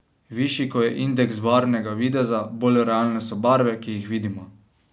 Višji ko je indeks barvnega videza, bolj realne so barve, ki jih vidimo.